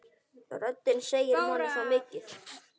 Röddin segir manni svo mikið.